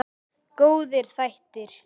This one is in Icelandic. Góðir þættir.